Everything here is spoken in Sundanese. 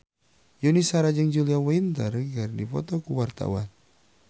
Yuni Shara jeung Julia Winter keur dipoto ku wartawan